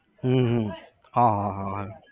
હમ હમ હા હા હા હા